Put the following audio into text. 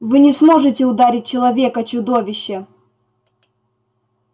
вы не сможете ударить человека чудовище